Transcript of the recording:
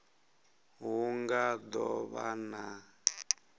hu nga do vha na